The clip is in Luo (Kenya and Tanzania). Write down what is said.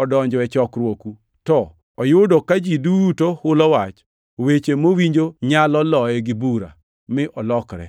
odonjo e chokruoku, to oyudo ka ji duto hulo wach, weche mowinjo nyalo loye gi bura, mi olokre,